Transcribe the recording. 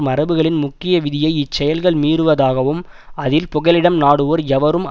மரபுகளின் முக்கிய விதியை இச்செயல்கள் மீறுவதாகும்அதில் புகலிடம் நாடுவோர் எவரும்